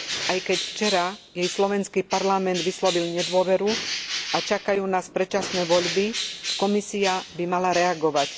Aj keď včera jej slovenský parlament vyslovil nedôveru a čakajú nás predčasné voľby, Komisia by mala reagovať.